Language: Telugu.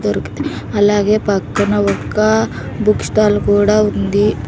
అలాగే పక్కన ఒక్క బుక్ స్టాల్ కూడా ఉంది.